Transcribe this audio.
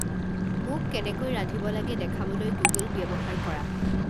মোক কেনেকৈ ৰান্ধিব লাগে দেখাবলৈ গুগল ব্যৱহাৰ কৰা